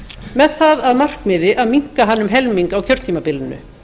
með það að markmiði að minnka hann um helming á kjörtímabilinu